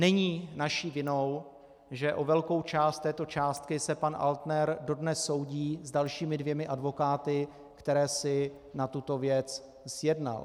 Není naší vinou, že o velkou část této částky se pan Altner dodnes soudí s dalšími dvěma advokáty, které si na tuto věc zjednal.